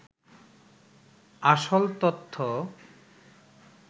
আসল তথ্য